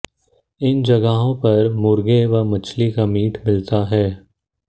इन जगहों पर मुर्गे व मछली का मीट मिलता है